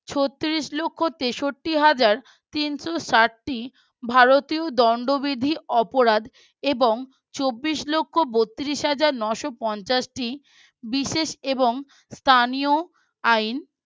ছত্তিরিশ লক্ষ তেষট্টি হাজার তিনশো ষাট টি ভারতীয় দণ্ডবিধি অপরাধ এবং চব্বিশ লক্ষ বতিরিস হাজার নস পঞ্চাশ টি বিশেষ এবং স্থানীয় আইন